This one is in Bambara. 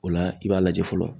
O la, i b'a lajɛ fɔlɔ.